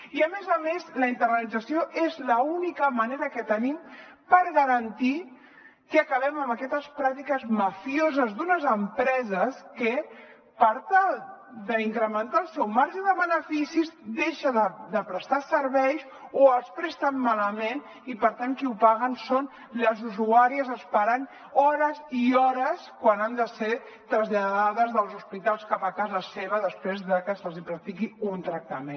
i a més a més la internalització és l’única manera que tenim per garantir que acabem amb aquestes pràctiques mafioses d’unes empreses que per tal d’incrementar el seu marge de beneficis deixen de prestar serveis o els presten malament i per tant qui ho paguen són les usuàries esperant hores i hores quan han de ser traslladades dels hospitals cap a casa seva després de que se’ls hi practiqui un tractament